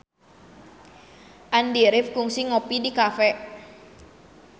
Andy rif kungsi ngopi di cafe